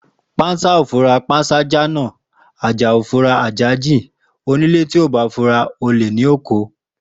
Pansa o fura pansa ja na, aja o fun ase jin ti onile o ba fura ole ni o ko.